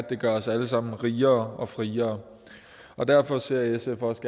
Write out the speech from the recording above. det gør os alle sammen rigere og friere derfor ser sf også